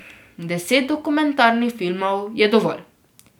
Deset dokumentarnih filmov je dovolj.